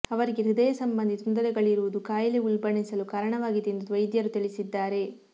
ಅವರಿಗೆ ಹೃದಯ ಸಂಬಂಧಿ ತೊಂದರೆಗಳಿರುವುದು ಕಾಯಿಲೆ ಉಲ್ಬಣಿಸಲು ಕಾರಣವಾಗಿದೆ ಎಂದು ವೈದ್ಯರುತಿಳಿಸಿದ್ದಾರೆ